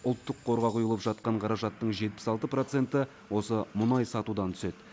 ұлттық қорға құйылып жатқан қаражаттың жетпіс алты проценті осы мұнай сатудан түседі